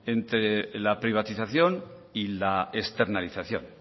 entre la privatización y la externalización